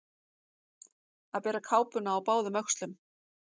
Að bera kápuna á báðum öxlum